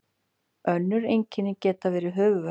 önnur einkenni geta verið höfuðverkur